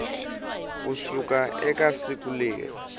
ku suka eka siku leri